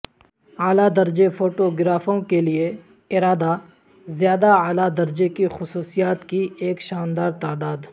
اعلی درجے فوٹوگرافروں کے لئے ارادہ زیادہ اعلی درجے کی خصوصیات کی ایک شاندار تعداد